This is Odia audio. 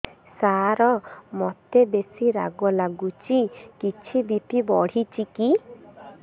ସାର ମୋତେ ବେସି ରାଗ ଲାଗୁଚି କିଛି ବି.ପି ବଢ଼ିଚି କି